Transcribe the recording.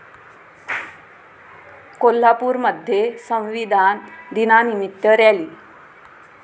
कोल्हापूरमध्ये संविधान दिनानिमित्त रॅली